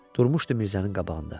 Durmuşdu Mirzənin qabağında.